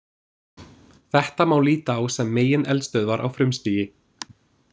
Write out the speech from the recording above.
Þetta má líta á sem megineldstöðvar á frumstigi.